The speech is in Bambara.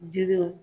Jiriw